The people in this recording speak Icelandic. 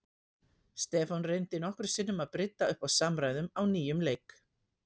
Stefán reyndi nokkrum sinnum að brydda upp á samræðum á nýjan leik.